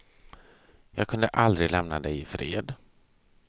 Jag kunde aldrig lämna dig ifred.